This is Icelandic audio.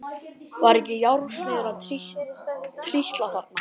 Var ekki járnsmiður að trítla þarna?